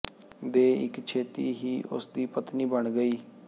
ਦੇ ਇਕ ਛੇਤੀ ਹੀ ਉਸ ਦੀ ਪਤਨੀ ਬਣ ਗਈ